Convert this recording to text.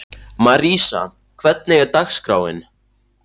Marísa, hvernig er dagskráin?